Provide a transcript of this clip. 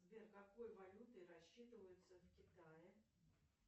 сбер какой валютой рассчитываются в китае